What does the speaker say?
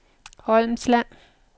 Holmsland